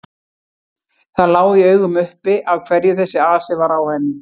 Það lá í augum uppi af hverju þessi asi var á henni.